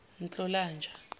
nhlolanja